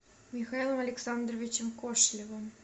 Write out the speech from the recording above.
михаилом александровичем кошелевым